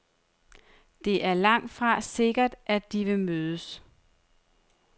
Det er langtfra sikkert, at de vil mødes.